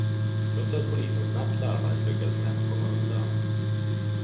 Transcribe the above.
Trots att polisen snabbt larmades lyckades männen komma undan.